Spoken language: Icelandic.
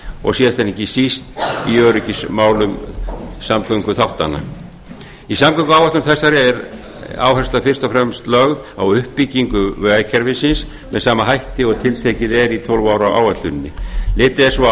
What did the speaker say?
og síðast en ekki síst í öryggismálum samgönguþáttanna í samgönguáætlun þessari er áhersla fyrst og fremst lögð á uppbyggingu vegakerfisins með sama hætti og tiltekið er í tólf ára áætluninni litið er svo